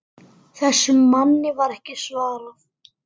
Þessum manni var ekki svarað.